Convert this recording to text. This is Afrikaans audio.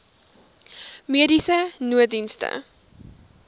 mediese nooddienste